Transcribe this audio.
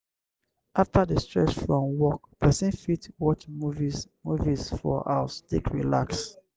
after the stress from work person fit watch movies movies for house take relax